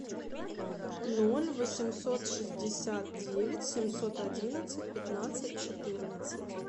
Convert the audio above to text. ноль восемьсот шестьдесят девять семьсот одиннадцать пятнадцать четырнадцать